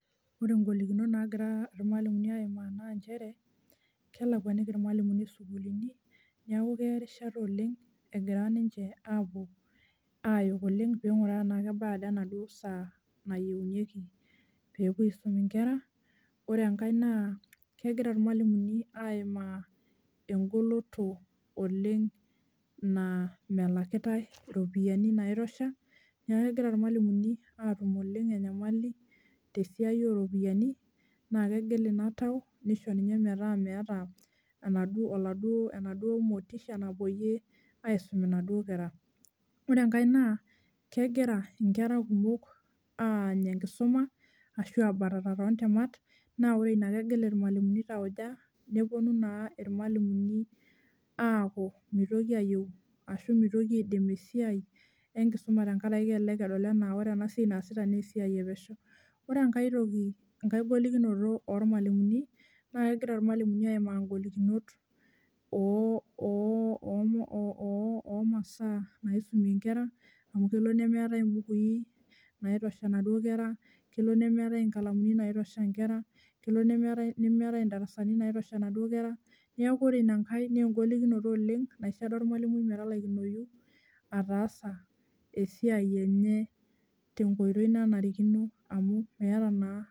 Ore ing'olikinot naagira ilmalimuni aimaa naa injere, kelakuaniki ilmalimuni isukuulini, neeku keya erishata oleng' egira ninje aapuo aayok oleng' egira peenkuraa tenaa kebaya enaduo saa nayieunkiki peepuo aisuma inkera. Ore enkae naa kegira ilmalimuni aaima enkoloto oleng' naa melakitai iropiyiani naitusha, neeku kegira ilmalimuni aatum oleng' enyamali tesiai oropiyian naa kegil ina tau nisho ninye metaa enaduo motisha napoyie aisuma inaduo kera. Ore enkae naa kegira enkera kumok aany enkisuma, ashu aabatata too nkemat naa ore ina kegil ilmalimuni tauja neponu naa ilmalimuni aaku mitoki aidim easiai enkisuma tenkaraki kelelek edol enaa ore siai naasitai naa esiai epesho. Ore enkae golikinoto olmalimui naa kegira ilmalimuni aimaa inkolikinot omasaa naisumie inkera amu kelo nemeetai imbukui, naitosha inaduo kera, kelo nemeetai inkalamu naitusha inkera, kelo nemeetai indarasani naitusha inaduo kera, neeku ore inankae naa enkolikinoto oleng' naisho olmalimui metalaikinoyu ataasa esiai enye tenkoitoi nanarikino.